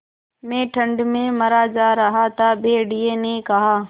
मैं ठंड में मरा जा रहा हूँ भेड़िये ने कहा